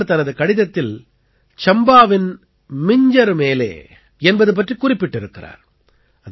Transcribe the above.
அவர் தனது கடிதத்தில் சம்பாவின் மிஞ்ஜர் மேலே என்பது பற்றிக் குறிப்பிட்டிருக்கிறார்